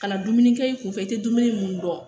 Ka na dumuni kɛ i kunfɛ i tɛ dumuni mun dun